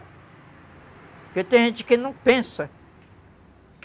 Porque tem gente que não pensa.